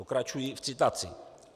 Pokračuji v citaci: